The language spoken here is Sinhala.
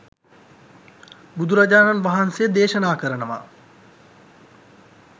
බුදුරජාණන් වහන්සේ දේශනා කරනවා